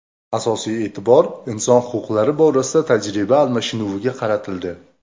Asosiy e’tibor inson huquqlari borasida tajriba almashinuviga qaratildi.